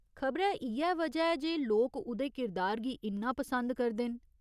खबरै इ'यै वजह ऐ जे लोक उ'दे किरदार गी इन्ना पसंद करदे न।